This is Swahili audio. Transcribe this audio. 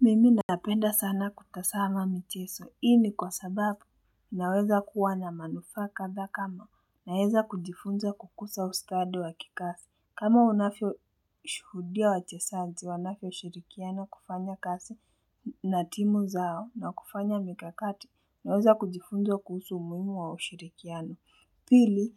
Mimi napenda sana kutazama michezo, hii ni kwa sababu naweza kuwa na manufaa kathaa kama, naweza kujifunza kukusa ustadi wa kikasi, kama unavyo shuhudia wa chezaji wanavyo shirikiana kufanya kazi na timu zao na kufanya mikakati, naweza kujifunza kusu umuhimu wa ushirikiano. Pili,